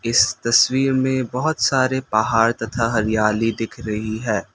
इस तस्वीर में बहुत सारे पहाड़ तथा हरियाली दिख रही है।